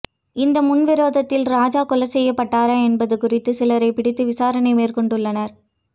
இந்த முன்விரோதத்தில் ராஜா கொலை செய்யப்பட்டாரா என்பது குறித்து சிலரை பிடித்து விசாரணை மேற்கொண்டுள்ளனர்